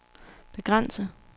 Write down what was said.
begrænse